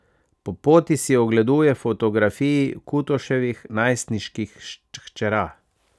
Po poti si ogleduje fotografiji Kutoševih najstniških hčera.